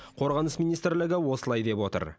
қорғаныс министрлігі осылай деп отыр